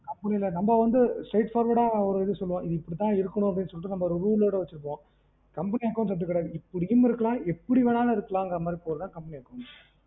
நம்ம வந்து straight forward ஒரு இது சொல்லுவோம் இப்படி தான் இருக்கணு அப்டீன்னு சொல்லீட்டு நம்ம ஒரு rule ஓட வச்சிருக்கோம் company accounts அப்டி கிடையாது. இப்படியும் இருக்கலாம் எப்படி வேணாலும் இருக்கலாங்குற மாதிறி போடுறது தான் company accounts